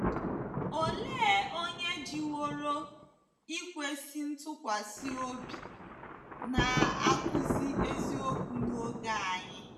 Olee onye jiworo ikwesị ntụkwasị obi na-akụzi eziokwu n’oge anyị?